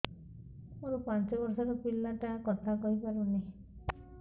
ମୋର ପାଞ୍ଚ ଵର୍ଷ ର ପିଲା ଟା କଥା କହି ପାରୁନି